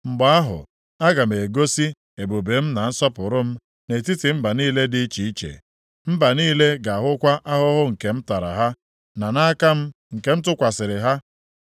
“Mgbe ahụ, aga m egosi ebube m na nsọpụrụ m nʼetiti mba niile dị iche iche. Mba niile ga-ahụkwa ahụhụ nke m tara ha, na aka m nke m tụkwasịrị ha.